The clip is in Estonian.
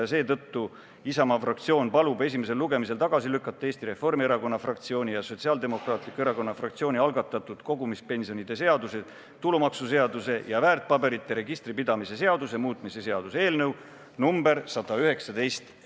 Ja seetõttu palubki Isamaa fraktsioon esimesel lugemisel tagasi lükata Eesti Reformierakonna fraktsiooni ja Sotsiaaldemokraatliku Erakonna fraktsiooni algatatud kogumispensionide seaduse, tulumaksuseaduse ja väärtpaberite registri pidamise seaduse muutmise seaduse eelnõu nr 119.